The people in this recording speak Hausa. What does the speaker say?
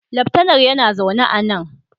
Laftanar yana zaune a nan